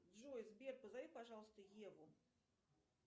джой сбер позови пожалуйста еву